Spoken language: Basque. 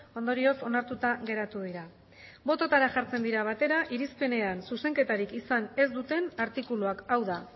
ondorioz onartuta geratu dira bototara jartzen dira batera irizpenean zuzenketarik izan ez duten artikuluak hau da